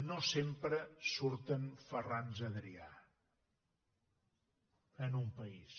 no sempre surten ferrans adrià en un país